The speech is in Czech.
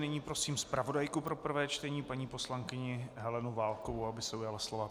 Nyní prosím zpravodajku pro prvé čtení paní poslankyni Helenu Válkovou, aby se ujala slova.